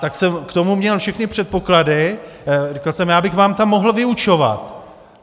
Tak jsem k tomu měl všechny předpoklady, řekl jsem, já bych vám tam mohl vyučovat.